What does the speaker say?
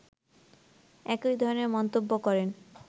একই ধরনের মন্তব্য করেন